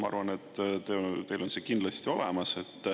Ma arvan, et teil on see kindlasti olemas.